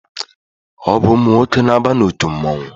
Ọ bụ ụmụ nwoke na-aba n'otu mmụọnwụ.